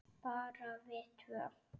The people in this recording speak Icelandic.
Bara við tvö?